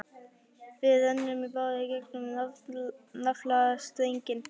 Við rennum í báðar áttir í gegnum naflastrenginn.